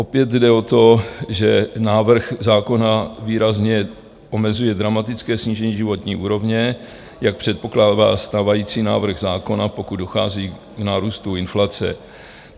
Opět jde o to, že návrh zákona výrazně omezuje dramatické snížení životní úrovně, jak předpokládá stávající návrh zákona, pokud dochází k nárůstu inflace.